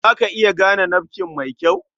Za ta iya gane nafkin mai kyau?